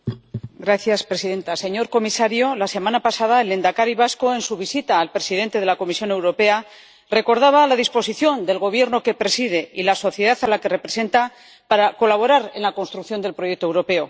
Señora presidenta, señor comisario, la semana pasada el lehendakari vasco, en su visita al presidente de la Comisión Europea, recordaba la disposición del Gobierno que preside y la sociedad a la que representa para colaborar en la construcción del proyecto europeo.